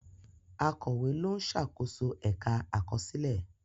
Akọ̀wé ló ń ṣàkóso ẹ̀ka àkọsílẹ̀.